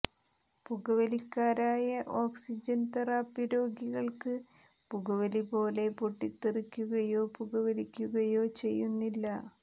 പുകവലിക്കാരായ oxygen therapy രോഗികൾക്ക് പുകവലി പോലെ പൊട്ടിത്തെറിക്കുകയോ പുകവലിക്കുകയോ ചെയ്യുന്നില്ല